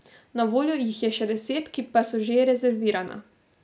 Na voljo jih je še deset, ki pa so že rezervirana.